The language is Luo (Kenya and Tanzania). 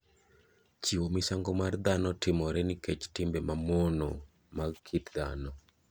Chiwo misango mar dhano timore nikech timbe mamono mag kit dhano.